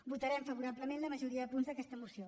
votarem favorablement la majoria de punts d’aquesta moció